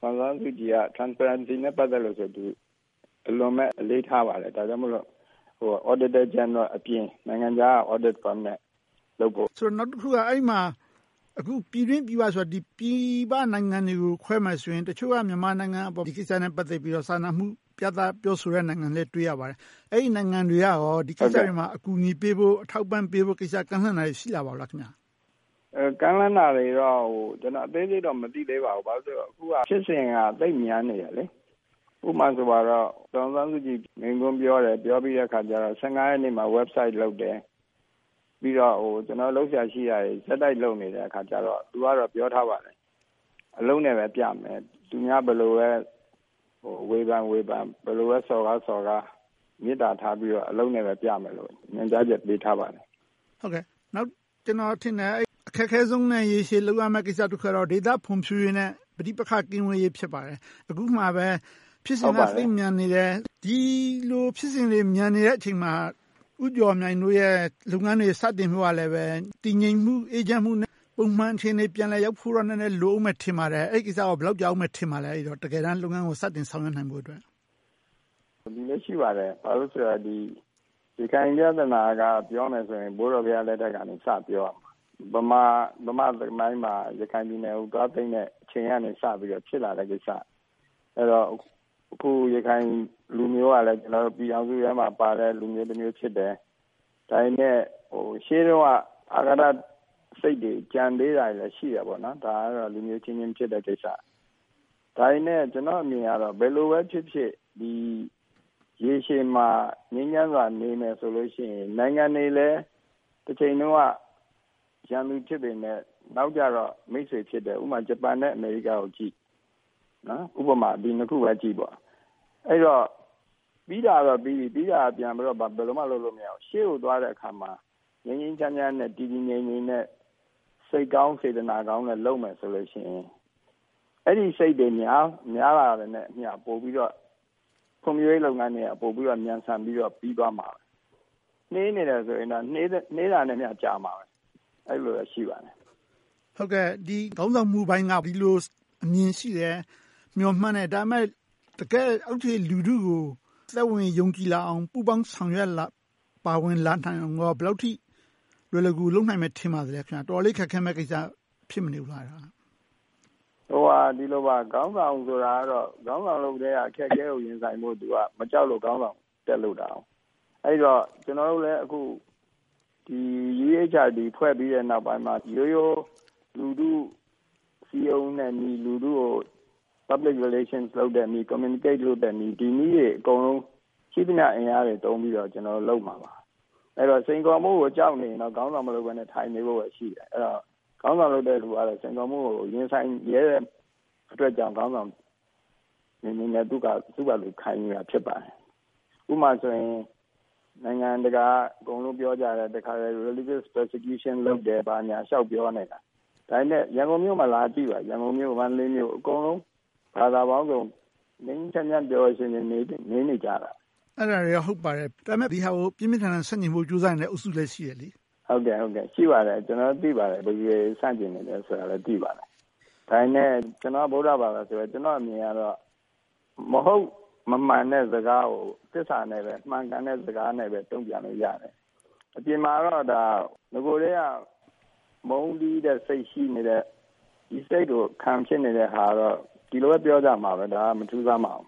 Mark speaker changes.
Speaker 1: ဆန်းစုကြည်က Transparency နဲ့ဆို အလွန်အလေးထားပါတယ်။ ဒါကြောင့်မို့ Auditor General အပြင် နိုင်ငံခြားက Audit Firm နဲ့ လုပ်ဖို့ပါ။
Speaker 2: နောက်တခုက အဲဒီမှာ ပြည်တွင်းပြည်ပဆိုရာမှာ ပြည်ပနိုင်ငံတွေကို ပြောမယ်ဆိုရင် တချို့က မြန်မာနိုင်ငံအပေါ် ဒီကိစ္စနဲ့ ပတ်သက်ပြီးတော့ စာနာမှုပြသ ပြောဆိုတဲ့နိုင်ငံတွေလည်း တွေ့ရပါတယ်။ အဲဒီနိုင်ငံတွေက ဒီကိစ္စတွေမှာ အကူအညီပေးဖို့၊ ထောက်ပံ့ပေးဖို့တွေ ကမ်းလှမ်းလာတာ ရှိပါလား။
Speaker 1: ကမ်းလှမ်းလာတာတွေတော့ အသေးစိတ် မသိသေးပါဘူး။ ဘာဖြစ်လို့လဲဆိုတော့ အခုက ဖြစ်စဉ်က သိပ်မြန်နေတယ်။ ဥပမာဆိုရင်တော့ ဒေါ်အောင်ဆန်းစုကြည် မိန့်ခွန်းပြောတယ်။ ပြောပြီးတဲ့အခါကြတော့ ရက်နေ့မှာ Website လုပ်တယ်။ ပြီးတော့ လုပ်စရာရှိတာတွေ ဆက်တိုက်လုပ်နေတဲ့အခါကြတော့ သူကတော့ ပြောထားပါတယ်။ အလုပ်နဲ့ပဲပြမယ်။ သူများတွေ ဘယ်လိုပဲ ဝေဖန်ဝေဖန်၊ ဘယ်လိုပဲ စော်ကားစော်ကား မေတ္တာထားပြီးတော့ အလုပ်နဲ့ပဲပြမယ်လို့ ညွှန်ကြားချက်ပေးထားပါတယ်။
Speaker 2: ကျနော်ထင်တယ် အခက်ခဲဆုံးနဲ့ ရေရှည်လုပ်ရမယ့် ကိစ္စတခုကတော့ ဒေသဖွံ့ဖြိုးရေးနဲ့ ပဋိပက္ခ ကင်းဝေးရေး ဖြစ်ပါတယ်။ အခုက ဖြစ်စဉ်က သိပ်မြန်နေတယ်။ ဒီလို ဖြစ်စဉ်တွေ မြန်နေတဲ့အချိန်မှာ ဦးကျော်မြိုင်တို့ရဲ့ လုပ်ငန်းတွေ စတင်ဖို့ကလည်း တည်ငြိမ်မှု၊ အေးချမ်းမှုနဲ့ ပုံမှန်အခြေအနေ ရောက်ဖို့တော့ နည်းနည်း လိုအုံးမယ်ထင်ပါတယ်။ အဲဒီကိစ္စ ဘယ်လောက်ကြာအုံးမယ်လို့ ထင်ပါလဲ။ တကယ်တမ်း လုပ်ငန်းကို စတင်ဆောင်ရွက်နိုင်ဖို့။
Speaker 1: ရခိုင်ပြဿနာ ပြောမယ်ဆိုရင် ဘိုးတော်ဘုရားလက်ထက်ကနေ စပြောရမှာ။ ဗမာသမိုင်းမှာ ရခိုင်ပြည်နယ်ကို သွားသိမ်းတဲ့အချိန်ကနေ စပြီးဖြစ်လာတဲ့ကိစ္စ။ အခု ရခိုင်လူမျိုးကလည်း ပြည်ထောင်စုထဲမှာ ပါတဲ့လူမျိုးဖြစ်တယ်။ ဒါပေမဲ့ ရှေးတုန်းက အဃာတစိတ်တွေ ကျန်နေသေးတာတွေလည်း ရှိတယ်။ ဒါကတော့ လူမျိုးအချင်းချင်း ဖြစ်တဲ့ကိစ္စ။ ဒါပေမဲ့ ကျနော့်အမြင်ကတော့ ဘယ်လိုပဲဖြစ်ဖြစ် ရေရှည်မှာ ငြိမ်းချမ်းစွာ နေမယ်ဆိုလို့ရှိရင် နိုင်ငံတွေလည်း တချိန်တုန်းက ရန်သူဖြစ်ပေမယ့် နောက်ကြတော့ မိတ်ဆွေဖြစ်တယ်။ ဥပမာ ဂျပန်နဲ့ အမေရိကကိုကြည့် - ဒီနှစ်ခုပဲကြည့်ပါ။ အဲဒီတော့ ပြီးတာတော့ပြီးပြီ။ ပြီးတာကို ဘာမှပြန်လုပ်လို့ မရဘူး။ ရှေ့ကိုသွားတဲ့အခါမှာ ငြိမ်းငြိမ်းချမ်းချမ်းနဲ့ တည်တည်ငြိမ်ငြိမ်နဲ့ စိတ်ကောင်းစေတနာကောင်းနဲ့ လုပ်မယ်ဆိုလို့ရှိရင် အဲဒီစိတ်တွေ များလာတာနဲ့အမျှ ပိုပြီးတော့ ဖွံ့ဖြိုးရေးလုပ်ငန်းတွေက မြန်ဆန်ပြီးတော့ ပြီသွားမှာ။ နှေးနေတယ်ဆိုရင်တော့ နှေးတာနဲ့အမျှ ကြာလိမ့်မယ်။ အဲဒီလိုမျိုး ရှိပါတယ်။
Speaker 2: ခေါင်းဆောင်မှုပိုင်းက ဒီလိုအမြင်ရှိတယ်။ မျှော်မှန်းတယ်။ ဒါပေမဲ့ တကယ့် အောက်ခြေလူထုကို သက်ဝင်ယုံကြည်လာအောင်၊ ပူးပေါင်းဆောင်ရွက် ပါဝင်လာနိုင်အောင် ဘယ်လောက်အထိ လွယ်လွယ်ကူကူ လုပ်နိုင်မယ် ထင်ပါသလဲ။ တော်တော်လေး ခက်ခဲမယ့်ကိစ္စ ဖြစ်မနေဘူးလား။
Speaker 1: ခေါင်းဆောင်ဆိုတာကတော့ ခေါင်းဆောင်လုပ်ကတည်းက အခက်အခဲတွေကို ရင်ဆိုင်ဖို့ သူက မကြောက်လို့ ခေါင်းဆောင်တက်လုပ်တာ။ အဲဒီတော့ ကျနော်တို့လည်း အခု UEHRD ဖွဲ့ပြီးတဲ့အခါမှာ ရိုးရိုးလူထုကို စည်းရုံးတဲ့နည်း၊ လူထုနဲ့ ဆက်ဆံနည်း Public relation and communication နည်းတွေ အကုန်လုံးကို ရှိသမျှအင်အားတွေ သုံးပြီးတော့ လုပ်မှာပါ။ အဲဒီတော့ စိန်ခေါ်မှုကို ကြောက်နေရင်တော့ ခေါင်းဆောင်မလုပ်ဘဲနဲ့ ထိုင်နေဖို့ပဲ ရှိတယ်။ အဲဒီတော့ ခေါင်းဆောင်လုပ်တဲ့လူကလည်း စိန်ခေါ်မှုကို ရင်ဆိုင်ရဲတဲ့အတွက်ကြောင့် ခေါင်းဆောင်အဖြစ်နဲ့ သူက ခိုင်နေတာဖြစ်တယ်။ ဥပမာဆိုရင် နိုင်ငံတကာက အကုန်လုံး ပြောကြတယ်။ Religious persecution လုပ်တယ် ဘာညာလျှောက်ပြောနေတာ ဒါပေမဲ့ ရန်ကုန်မြို့မှာ လာကြည့်ပါ။ ရန်ကန်ု၊ မန္တလေး အကုန်လုံး ဘာသာပေါင်းစုံ ငြိမ်းငြိမ်းချမ်းချမ်း၊ ပျော်ပျော်ရွှင်ရွှင် နေနေကြတယ်။
Speaker 2: အဲဒါတွေက ဟုတ်ပါတယ်။ ဒါပေမဲ့ ဒီဟာကို ပြင်းပြင်းထန်ထန် ဆန့်ကျင်နေတဲ့ အုပ်စုလည်း ရှိနေတယ်။
Speaker 1: ရှိပါတယ်။ ကျနော်တို့ သိပါတယ်။ ဘယ်သူတွေ ဆန့်ကျင်နေလဲဆိုတာလည်း သိပါတယ်။ ဒါပေမဲ့ ကျနော်က ဗုဒ္ဓဘာသာဆိုတော့ ကျနော့်အမြင်က မဟုတ်မမှန်တဲ့စကားကို သစ္စာနဲ့ပဲ၊ မှန်ကန်တဲ့စကားနဲ့ပဲ တုံ့ပြန်လို့ရတယ်။ အပြင်မှာတော့ နဂိုကတည်းက မုန်းတီးတဲ့စိတ် ရှိနေတဲ့ ဒီစိတ်ကို ခံဖြစ်နေတဲ့ဟာကတော့ ဒီလိုပဲ ပြောကြမှာပေါ့။ ဒါက မထူးဆန်းပါဘူး